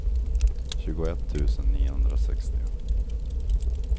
tjugoett tusen niohundrasextio